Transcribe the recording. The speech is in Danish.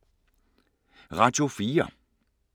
Radio 4